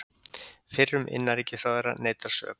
Fyrrum innanríkisráðherra neitar sök